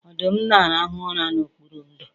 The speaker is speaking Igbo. Ọdụm na-arahụ ụra n'okpuru ndò